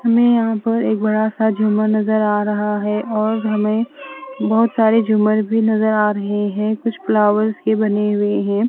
हमे यहाँ पर एक बड़ा सा झूमर नजर आ रहा है और हमे बहोत सारे झूमर भी नजर आ रहे है कुछ फ्लावरस भी बनी हुई है।